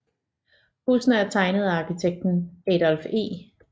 Husene er tegnet af arkitekten Adolph E